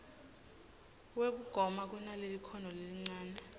wekugoma kunalelikhono lelincane